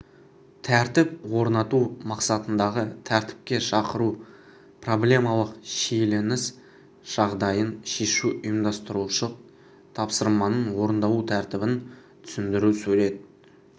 тәртіп орнату мақсатындағы тәртіпке шақыру проблемалық шиеленіс жағдайын шешу ұйымдастырушылық тапсырманың орындалу тәртібін түсіндіру сурет